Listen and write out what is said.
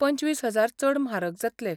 पंचवीस हजार चड म्हारग जातले.